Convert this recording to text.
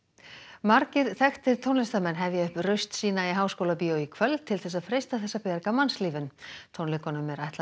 margir þekktir tónlistarmenn hefja upp raust sína í Háskólabíói í kvöld til þess að freista þess að bjarga mannslífum tónleikunum er ætlað að